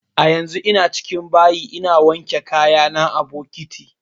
A yanzun ina cikin bayi ina wanke kaya na a bokiti